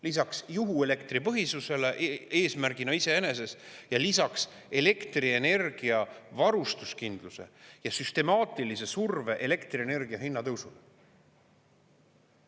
Lisaks juhuelektripõhisusele eesmärgina iseeneses ja lisaks elektrienergiavarustuskindluse ja süstemaatilise surve elektrienergia hinnatõusule.